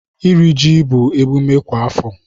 Iri ji bụ emume kwa afọ.